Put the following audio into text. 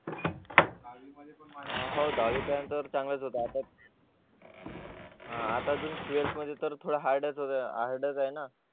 हो दहावीपर्यंत तर चांगलाच आता अजून ट्वेल्थ मध्ये तर हार्ड च आहे ना